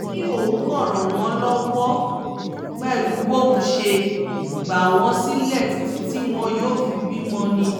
ó ní òun kàn ràn wọ́n lọ́wọ́ pẹ̀lú bóun ṣe gbà wọ́n sílẹ̀ títí tí wọn yóò fi bímọ ni